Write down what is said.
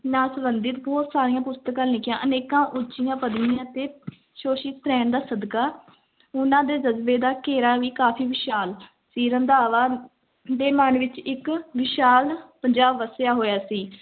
ਨਾਲ ਸੰਬੰਧਿਤ ਬਹੁਤ ਸਾਰੀਆਂ ਪੁਸਤਕਾਂ ਲਿਖੀਆਂ, ਅਨੇਕਾਂ ਉੱਚੀਆਂ ਪਦਵੀਆਂ ਤੇ ਰਹਿਣ ਸਦਕਾ ਉਹਨਾਂ ਦੇ ਜਜਬੇ ਦਾ ਘੇਰਾ ਵੀ ਕਾਫ਼ੀ ਵਿਸ਼ਾਲ ਸੀ, ਰੰਧਾਵਾ ਦੇ ਮਨ ਅੰਦਰ ਇੱਕ ਵਿਸ਼ਾਲ ਪੰਜਾਬ ਵੱਸਿਆ ਹੋਇਆ ਸੀ